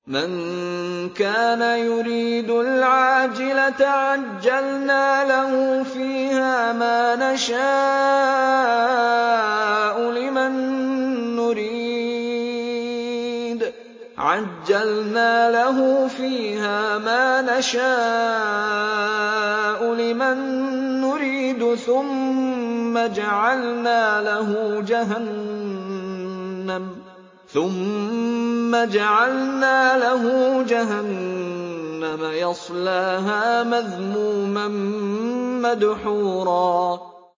مَّن كَانَ يُرِيدُ الْعَاجِلَةَ عَجَّلْنَا لَهُ فِيهَا مَا نَشَاءُ لِمَن نُّرِيدُ ثُمَّ جَعَلْنَا لَهُ جَهَنَّمَ يَصْلَاهَا مَذْمُومًا مَّدْحُورًا